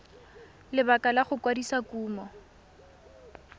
lebaka la go kwadisa kumo